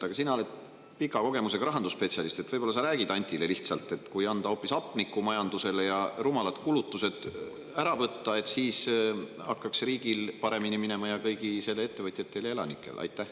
Aga sina oled pika kogemusega rahandusspetsialist, võib-olla sa räägid Antile, et kui anda majandusele hoopis hapnikku ja rumalad kulutused ära jätta, siis hakkaks riigil paremini minema ja kõigil selle ettevõtjatel ja elanikel ka.